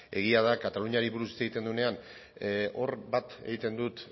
egia da kataluniari buruz hitz egiten denean hor bat egiten dut